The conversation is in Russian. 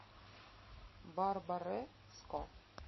барбареско